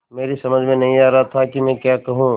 मेरी समझ में नहीं आ रहा था कि मैं क्या कहूँ